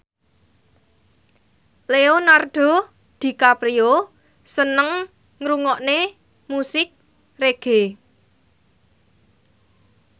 Leonardo DiCaprio seneng ngrungokne musik reggae